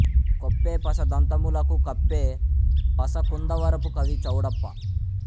కొప్పే పస దంతములకు కప్పే పస కుందవరపు కవి చౌడప్పా